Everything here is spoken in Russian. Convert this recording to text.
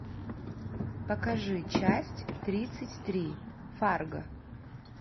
покажи часть тридцать три фарго